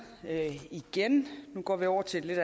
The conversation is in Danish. igen nu går vi over til et